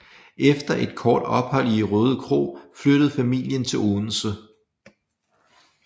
Efter et kort ophold i Rødekro flyttede familien til Odense